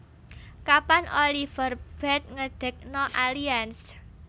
Kapan Oliver Bate ngedekno Allianz